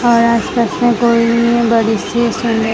और आस पास में कोई बड़ी सी सुंद--